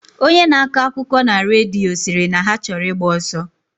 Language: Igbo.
Onye na akọ akụkọna redio, siri na ha choro igba oso.